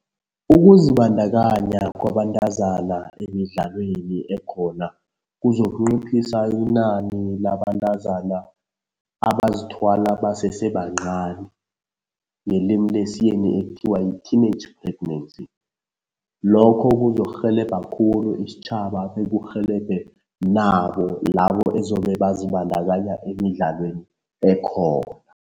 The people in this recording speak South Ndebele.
Ukuzibandakanya kwabantazana emidlalweni ekhona kuzokunciphisa inani labantazana abazithwala basese bancani, ngelimi lesiyeni ekuthiwa yi-teenage pregnancy. Lokho kuzokurhelebha khulu isitjhaba bekurhelebhe nabo labo ezobe bazibandakanya emidlalweni ekhona.